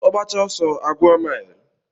Ogbacha oso a gwuo mile.